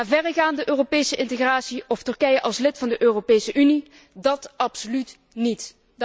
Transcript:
Maar verregaande Europese integratie of Turkije als lid van de Europese Unie, dat absoluut niet.